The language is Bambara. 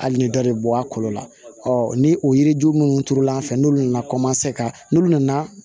Hali ni dɔ de bɔ a kolo la ni o yiri ju minnu turula an fɛ n'olu nana ka n'olu nana